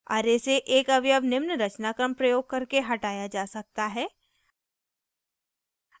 array से एक अवयव निम्न रचनाक्रम प्रयोग करके हटाया जा सकता है